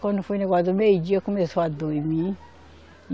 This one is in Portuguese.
Quando foi o negócio do meio-dia, começou a dormir.